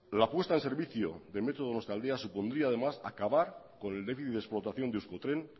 la apuesta en servicio del metro donostialdea supondría además acabar con el déficit de explotación de euskotren